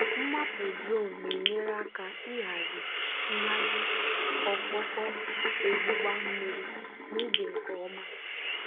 maapụ drone na-enyere aka ịhazi nhazi ọkpọkọ ogbugba mmiri n'ubi nke ọma.